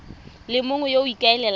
le mongwe yo o ikaelelang